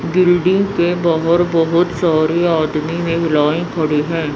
Building के बाहर बहोत सारे आदमी महिलाएं खड़ी है।